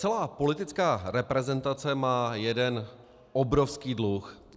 Celá politická reprezentace má jeden obrovský dluh.